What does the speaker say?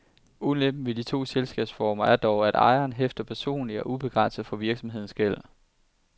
Ulempen ved de to selskabsformer er dog, at ejeren hæfter personligt og ubegrænset for virksomhedens gæld.